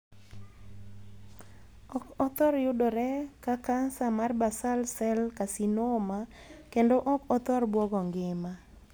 Ok othor yudore ka kansa mar 'basal cell carcinoma', kendo ok othor buogo ngima.